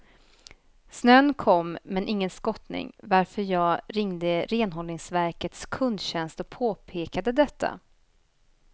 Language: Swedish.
Snön kom men ingen skottning, varför jag ringde renhållningsverkets kundtjänst och påpekade detta.